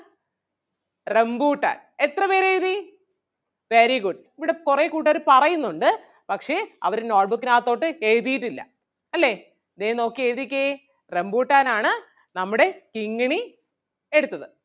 Rambutan എത്ര പേരെഴുതി? very good ഇവിടെ കൊറേ കൂട്ടുകാര് പറയുന്നുണ്ട് പക്ഷേ അവര് note book നാത്തോട്ട് എഴുതിയിട്ടില്ല അല്ലേ? ദേ നോക്കി എഴുതിക്കേ റംബൂട്ടാൻ ആണ് നമ്മുടെ കിങ്ങിണി എടുത്തത്.